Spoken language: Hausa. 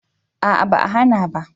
A'a ba a hana ba